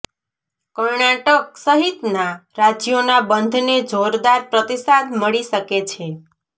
કર્ણાટક સહિતના રાજ્યોના બંધને જોરદાર પ્રતિસાદ મળી શકે છે